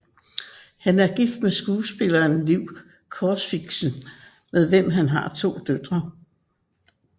Han er gift med skuespilleren Liv Corfixen med hvem han har to døtre